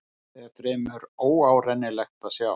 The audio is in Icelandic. Dýrið er fremur óárennilegt að sjá.